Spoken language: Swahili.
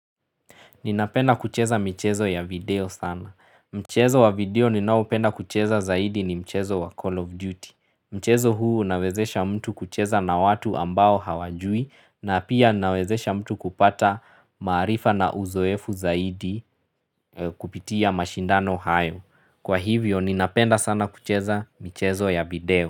Ninapenda kucheza michezo ya video sana. Mchezo wa video ninaopenda kucheza zaidi ni mchezo wa Call of Duty. Mchezo huu unawezesha mtu kucheza na watu ambao hawajui na pia nawezesha mtu kupata maarifa na uzoefu zaidi kupitia mashindano hayo. Kwa hivyo ninapenda sana kucheza michezo ya video.